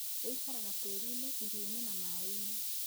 Ĩikaraga tĩriinĩ, irio-inĩ na maĩ-inĩ.